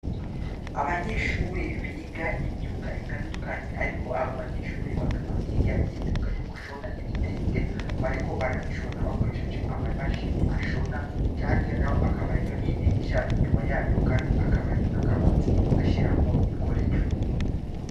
Abanyeshure biga imyuga itanduknye ariko aba banyeshure bakaba biga imyuga yo gushona ibitenge, bariko barabishona bakoresheje ama mashini ashona, hirya n'aho hakaba hariyo n'idirisha inyuma yayo kandi hakaba hariyo nakabati bashiramwo ibikoresho.